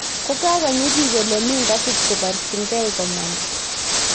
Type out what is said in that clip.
Kokakonyi biik ole mi ngasit, ko barchingei komanda